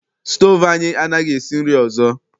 Stoovu anyị anaghị esi nri ọsọ.